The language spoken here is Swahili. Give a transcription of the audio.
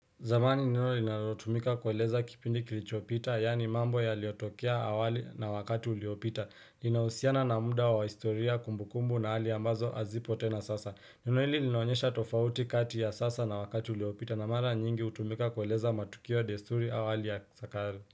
Zamani neno linalotumika kueleza kipindi kilichopita, yani mambo yaliotokea awali na wakati uliopita. Linahusiana na muda wa historia kumbukumbu na hali ambazo hazipo tena sasa. Neno hili linaonyesha tofauti kati ya sasa na wakati uliopita na mara nyingi utumika kueleza matukio ya desturi au hali ya sa kale.